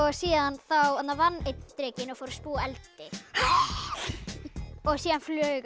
síðan vann einn drekinn og fór að spúa eldi og síðan flaug